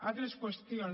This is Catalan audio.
altres qüestions